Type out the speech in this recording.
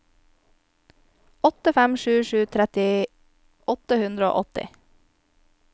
åtte fem sju sju tretti åtte hundre og åtti